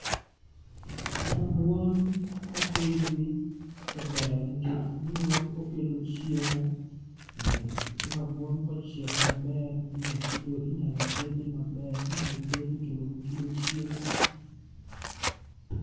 Rabuon kopidhi to ber nikech miyo okelo chiemo. Eh, rabuon kochiek maber tinya tigo inyalo tede maber, inyalo ted kendo makelo chiemo.